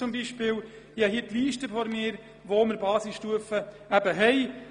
Ich habe die aktuelle Liste der Gemeinden mit einer Basisstufe vor mir.